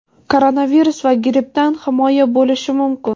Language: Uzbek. koronavirus va grippdan himoya bo‘lishi mumkin.